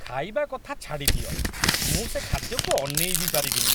ଖାଇବା କଥା ଛାଡ଼ିଦିଅ, ମୁଁ ସେ ଖାଦ୍ୟକୁ ଅନେଇ ବି ପାରିବିନି।